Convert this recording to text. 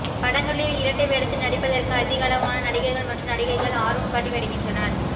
படங்களில் இரட்டை வேடத்தில் நடிப்பதற்கு அதிகளவான நடிகர்கள் மற்றும் நடிகைகள் ஆர்வம் காட்டி வருகின்றனர்